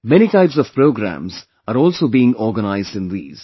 Many types of programs are also being organized in these